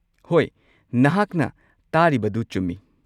ꯍꯣꯏ, ꯅꯍꯥꯛꯅ ꯇꯥꯔꯤꯕꯗꯨ ꯆꯨꯝꯃꯤ꯫